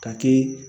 K'a kɛ